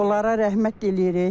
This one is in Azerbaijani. Onlara rəhmət eləyirik.